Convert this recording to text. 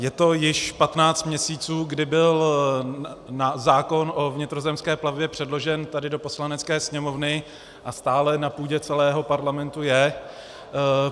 Je to již 15 měsíců, kdy byl zákon o vnitrozemské plavbě předložen tady do Poslanecké sněmovny, a stále na půdě celého Parlamentu je.